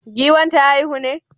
Giwan ta haihu ne?